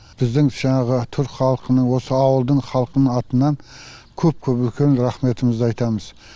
біздің жаңағы түрік халқының осы ауылдың халқының атынан көп көп үлкен рехметімізді айтамыз